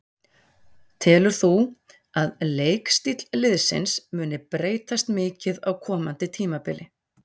Telur þú að leikstíll liðsins muni breytast mikið á komandi tímabili?